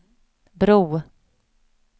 bro